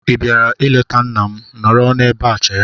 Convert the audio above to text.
Ị bịara ịleta nna m? Nọrọ n'ebe chere!